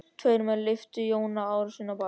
Tveir menn lyftu Jóni Arasyni á bak.